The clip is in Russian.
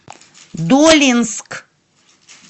долинск